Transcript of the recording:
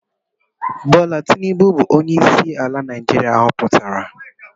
Bola Tinubu bu onye isi ala Naijiria hoputara.